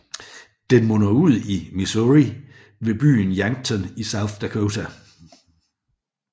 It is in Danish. Den munder ud i Missouri ved byen Yankton i South Dakota